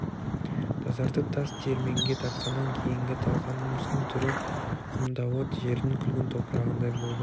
тазартып тас диірменге тартқаннан кейінгі талқанымыздың түрі құмдауыт жердің күлгін топырағындай болды